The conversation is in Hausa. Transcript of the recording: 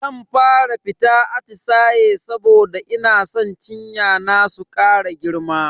Zan fara fita atisaye saboda ina san cinya na su kara girma.